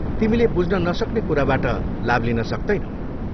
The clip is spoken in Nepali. तिमीले बुझ्न नसक्ने कुराबाट लाभ लिन सक्तैनौ।